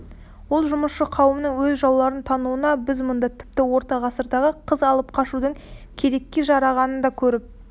ол жұмысшы қауымының өз жауларын тануына біз мұнда тіпті орта ғасырдағы қыз алып қашудың керекке жарағанын да көріп